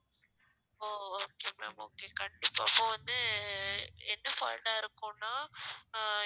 ஓ okay ma'am okay கண்டிப்பா அப்போ வந்து ஆஹ் என்ன fault ஆ இருக்கும்ன்னா ஆஹ்